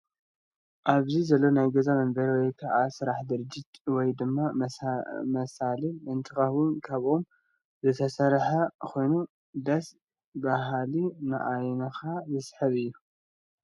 ኣብዚ ዘሎ ናይ ገዛ መንበሪ ወይ ከዓ ናይ ስራሕ ደረጃ ወይ ድማ መሳልል እንትከውን ካብ ኦም ዝተሰረሐ ኮይኑ ደስ በሃሊን ንዓይንካ ሰሓብን እዩ።